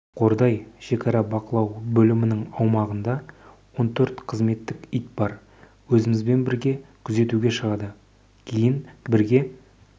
қордай шекара бақылау бөлімінің аумағында он төрт қызметтік ит бар өзімізбен бірге күзетуге шығады кейін бірге